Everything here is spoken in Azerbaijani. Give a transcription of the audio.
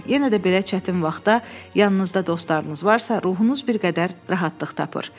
Yenə də belə çətin vaxtda yanınızda dostlarınız varsa, ruhunuz bir qədər rahatlıq tapar.